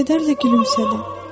O kədərlə gülümsədi.